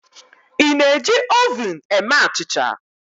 ị na-eji oven eme achịcha?